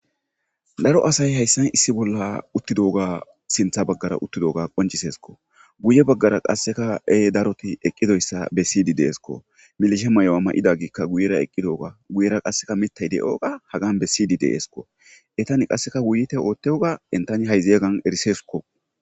daro asay hayssan issi bolla uttidooga sintha baggara uttidoga qoncisesko guye baggara qasseka ee daroti eqqidoyssa be siydi deesko milishe may7owa may7ida giikka guyera eqqidooga guyera qasseka mitay de7oga hagan be siydi deesko etani qasseka wuyte oottewga entani hay zeyeggan erisesko